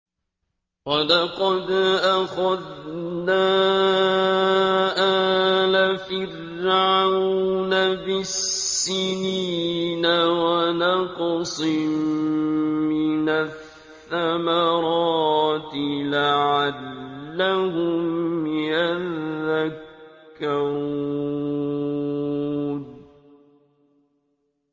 وَلَقَدْ أَخَذْنَا آلَ فِرْعَوْنَ بِالسِّنِينَ وَنَقْصٍ مِّنَ الثَّمَرَاتِ لَعَلَّهُمْ يَذَّكَّرُونَ